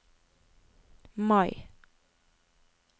Mai